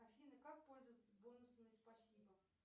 афина как пользоваться бонусами спасибо